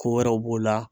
Ko wɛrɛw b'o la